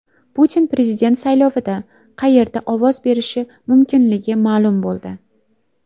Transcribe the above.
Putin prezident saylovida qayerda ovoz berishi mumkinligi ma’lum bo‘ldi.